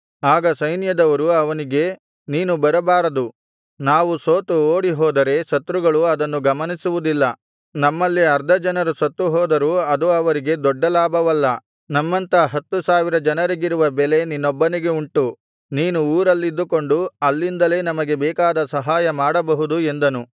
ಆಗ ಸೈನ್ಯದವರು ಅವನಿಗೆ ನೀನು ಬರಬಾರದು ನಾವು ಸೋತು ಓಡಿಹೋದರೆ ಶತ್ರುಗಳು ಅದನ್ನು ಗಮನಿಸುವುದಿಲ್ಲ ನಮ್ಮಲ್ಲಿ ಅರ್ಧ ಜನರು ಸತ್ತುಹೋದರೂ ಅದು ಅವರಿಗೆ ದೊಡ್ಡ ಲಾಭವಲ್ಲ ನಮ್ಮಂಥ ಹತ್ತು ಸಾವಿರ ಜನರಿಗಿರುವ ಬೆಲೆ ನಿನ್ನೊಬ್ಬನಿಗೆ ಉಂಟು ನೀನು ಊರಲ್ಲಿದ್ದುಕೊಂಡು ಅಲ್ಲಿಂದಲೇ ನಮಗೆ ಬೇಕಾದ ಸಹಾಯ ಮಾಡಬಹುದು ಎಂದನು